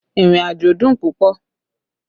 Ìrìnàjò dùn púpọ̀